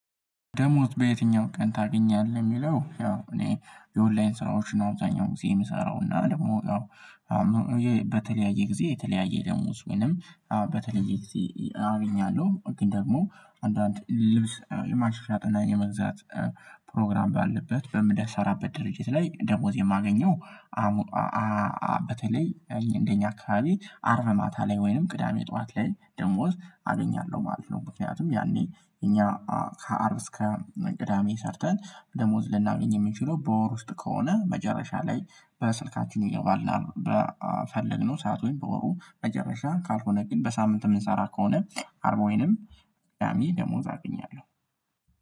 ደሞዝ? በየትኛው ቀን ታገኛለህ የሚለው ያው እኔ የኦንላይን ስራዎች ነው አብዛኛው ጊዜ የምሰራው እና ደግሞ ያው በተለያየ ጊዜ የተለያየ ደሞዝ ወይንም በተለየ ጊዜ አገኛለሁ ግን ደግሞ አንዳንድ ልብስ የማሽሻጥና የመግዛት ፕሮግራም ባለበት በምሰራበት ድርጅት ላይ ደሞዝ የማገኘው በተለይ እንደኛ አካባቢ አርብ ማታ ላይ ወይንም ቅዳሜ ጠዋት ላይ ደሞዝ አገኛለሁ ማለት ነው። ምክንያቱም ያኔ እኛ ከአርብ እስከ ቅዳሜ ሰርተን ደሞዝ ልናገኝ የምንችለው በወር ውስጥ ከሆነ መጨረሻ ላይ በስልካችን ይገባልናል በፈለግነው ሰዓት ወይም በወሩ መጨረሻ ካልሆነ ግን በሳምንት የምንሰራ ከሆነ አርቦይንም አሚ ደሞዝ አገኛለሁ።